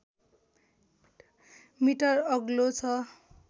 metre अग्लो छ